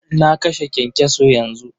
Na kashe kyankyaso yanzu.